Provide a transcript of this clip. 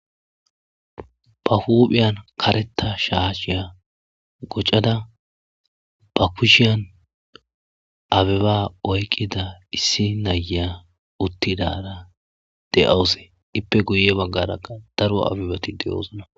Ba huphiyan karetta shaashiya koccada ba kushiyan abeba oyqqida issi na'iya uttidara de'awus iipe guye baggarakka daro abebati de'osona.